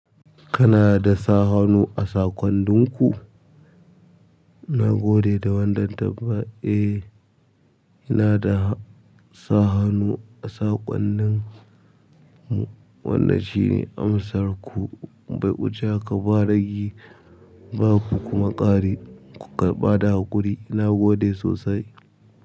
Kana da sa hannu a saƙonnin ku? Na gode da wannan tambaya. Eh, ina da sa hannu a saƙonnin mu. Wannan shine amsar ku, bai uce haka ba ragi ba ku kuma ƙari ku ƙarɓada haƙuri. Na gode sosai.